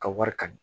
Ka wari ka di